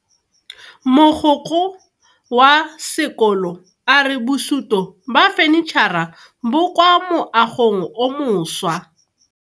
Mogokgo wa sekolo a re bosuto ba fanitšhara bo kwa moagong o mošwa.